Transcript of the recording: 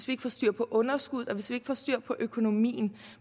vi får styr på underskuddet og hvis ikke vi får styr på økonomien